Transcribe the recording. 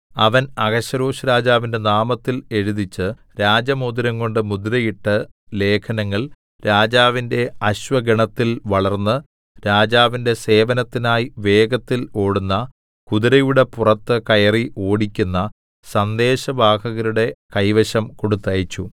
അവൻ അഹശ്വേരോശ്‌രാജാവിന്റെ നാമത്തിൽ എഴുതിച്ച് രാജമോതിരംകൊണ്ടു മുദ്രയിട്ട് ലേഖനങ്ങൾ രാജാവിന്റെ അശ്വഗണത്തിൽ വളർന്ന് രാജാവിന്റെ സേവനത്തിനായി വേഗത്തില്‍ ഓടുന്ന കുതിരയുടെ പുറത്ത് കയറി ഓടിക്കുന്ന സന്ദേശവാഹകരുടെ കൈവശം കൊടുത്തയച്ചു